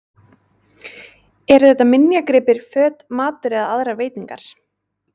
Eru þetta minjagripir, föt, matur eða aðrar veitingar?